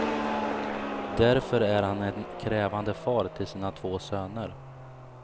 Därför är han en krävande far till sina två söner.